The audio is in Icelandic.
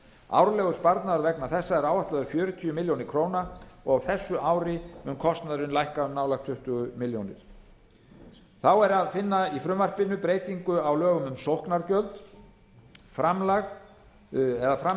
árlegur sparnaður vegna þessa er áætlaður fjörutíu milljónir króna og að á þessu ári muni kostnaðurinn lækka um nálægt tuttugu milljónir króna þá er að finna í frumvarpinu breytingu á lögum um sóknargjöld framlög